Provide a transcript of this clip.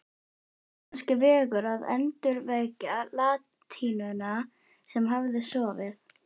Var kannski vegur að endurvekja latínuna sem hafði sofið